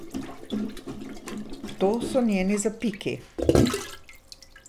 To so njeni zapiki.